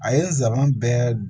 A ye nsaban bɛɛ